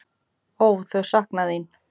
Ó, þau sakna þín.